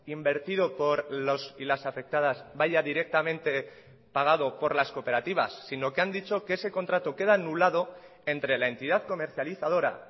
invertido por los y las afectadas vaya directamente pagado por las cooperativas sino que han dicho que ese contrato queda anulado entre la entidad comercializadora